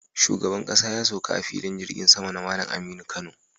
Shugaban ƙasa ya sauka a Filin jirgin sama na Malam Aminu Kano